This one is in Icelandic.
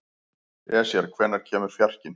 Esjar, hvenær kemur fjarkinn?